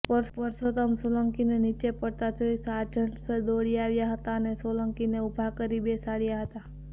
પરષોતમ સોલંકીને નીચે પડતા જોઈ સાર્જન્ટ્સ દોડી આવ્યા હતા અને સોલંકીને ઊભા કરી બેસાડ્યા હતા